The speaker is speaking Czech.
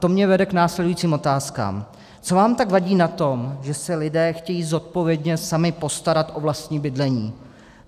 To mě vede k následujícím otázkám: Co vám tak vadí na tom, že se lidé chtějí zodpovědně sami postarat o vlastní bydlení?